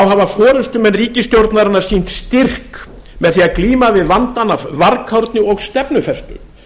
hafa forustumenn ríkisstjórnarinnar sýnt styrk með því að glíma við vandann af varkárni og stefnufestu